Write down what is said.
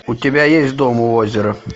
у тебя есть дом у озера